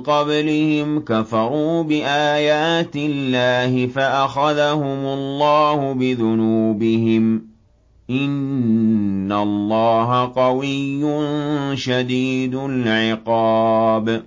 قَبْلِهِمْ ۚ كَفَرُوا بِآيَاتِ اللَّهِ فَأَخَذَهُمُ اللَّهُ بِذُنُوبِهِمْ ۗ إِنَّ اللَّهَ قَوِيٌّ شَدِيدُ الْعِقَابِ